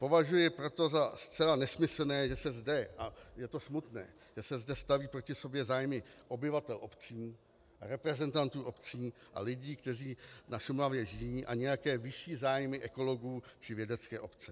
Považuji proto za zcela nesmyslné, že se zde, a je to smutné, že se zde staví proti sobě zájmy obyvatel obcí, reprezentantů obcí a lidí, kteří na Šumavě žijí, a nějaké vyšší zájmy ekologů či vědecké obce.